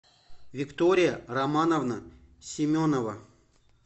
виктория романовна семенова